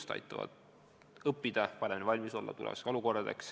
See aitab tulevasteks olukordadeks paremini valmis olla.